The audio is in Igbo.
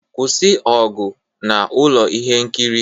Kwụsị ọgụ na ụlọ ihe nkiri!